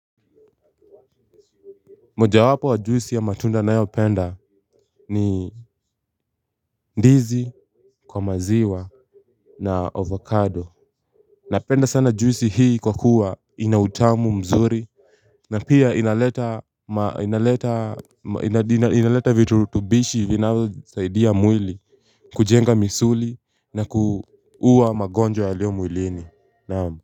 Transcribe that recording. Moja wapo wa juisi ya matunda nayopenda ni ndizi, kwa maziwa na ovocado. Napenda sana juisi hii kwa kuwa ina utamu mzuri. Na pia inaleta inaleta vitulutubishi vinazosaidia mwili kujenga misuli na kuuwa magonjwa yalio mwilini.